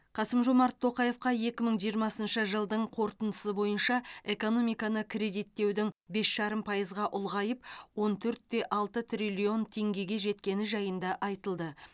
қасым жомарт тоқаевқа екі мың жиырмасыншы жылдың қорытындысы бойынша экономиканы кредиттеудің бес жарым пайызға ұлғайып он төрт те алты триллион теңгеге жеткені жайында айтылды